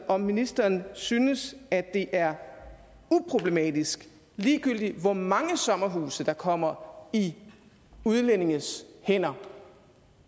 om ministeren synes at det er uproblematisk ligegyldigt hvor mange sommerhuse der kommer i udlændinges hænder